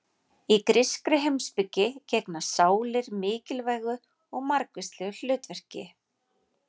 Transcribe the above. Í grískri heimspeki gegna sálir mikilvægu og margvíslegu hlutverki.